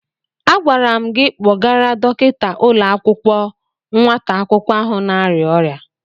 Agwara m gị kpọgara dọkịta ụlọ akwụkwọ nwata akwụkwọ ahụ na-arịa ọrịa.